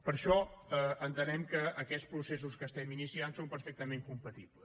per això entenem que aquests processos que estem iniciant són perfectament compatibles